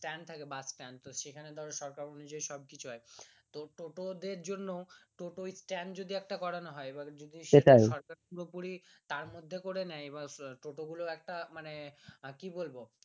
stand থাকে bus stand সরকার অনুযায়ী সব কিছু হয় টোটোদের জন্য টোটো স্ট্যান্ড যদি একটা করানো হয় সরকার থেকে পুরোপুরি তার মধ্যে করার নেই টোটো গুলোর একটা মানে কি বলবো